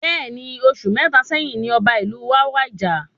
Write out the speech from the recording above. Bẹẹni, oṣù mẹta sẹ́yín ní ọba ìlú wa wàjà